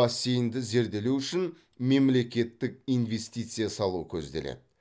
бассейнді зерделеу үшін мемлекеттік инвестиция салу көзделеді